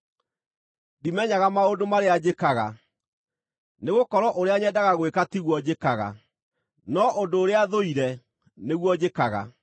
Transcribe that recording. Ndimenyaga maũndũ marĩa njĩkaga. Nĩgũkorwo ũrĩa nyendaga gwĩka tiguo njĩkaga, no ũndũ ũrĩa thũire nĩguo njĩkaga.